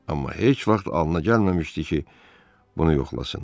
Amma heç vaxt alına gəlməmişdi ki, bunu yoxlasın.